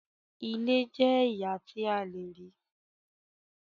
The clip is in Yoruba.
Ìlẹ̀ jẹ̀ ẹyà tí à lèrí.